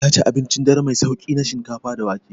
Ya ci abincin dare mai sauƙi na shinkafa da wake.